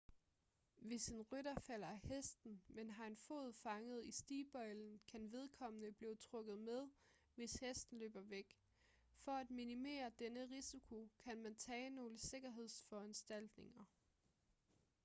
hvis en rytter falder af hesten men har en fod fanget i stigbøjlen kan vedkommende blive trukket med hvis hesten løber væk for at minimere denne risiko kan man tage nogle sikkerhedsforanstaltninger